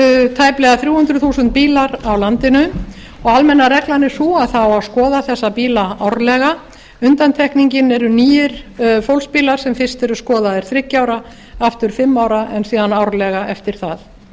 tæplega þrjú hundruð þúsund bílar á landinu og almenna reglan er sú að það á að skoða þessa bíla árlega undantekningin eru nýir fólksbílar sem fyrst eru skoðaðir þriggja ára aftur fimm ára en síðan árlega eftir það